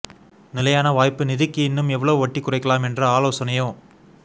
நிலையான வாய்ப்பு நிதிக்கு இன்னும் எவ்வளவு வட்டி குறைக்கலாம் என்ற ஆலோசனையோ